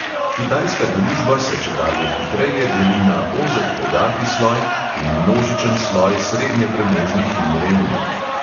Kitajska družba se čedalje hitreje deli na ozek bogati sloj in množičen sloj srednje premožnih in revnih.